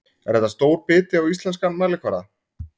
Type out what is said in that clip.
Er þetta stór biti á íslenskan mælikvarða?